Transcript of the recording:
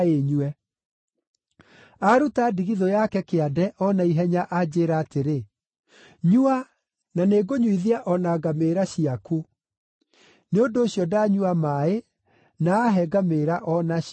“Aaruta ndigithũ yake kĩande o naihenya anjĩĩra atĩrĩ, ‘Nyua, na nĩngũnyuithia o na ngamĩĩra ciaku.’ Nĩ ũndũ ũcio ndanyua maaĩ na ahe ngamĩĩra o nacio.